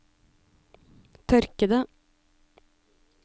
tørkede